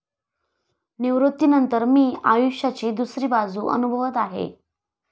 निवृत्तीनंतर मी आयुष्याची दुसरी बाजू अनुभवत आहे.